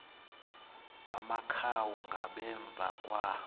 amakhawu ngasemva kwa